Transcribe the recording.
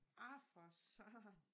Ah for satan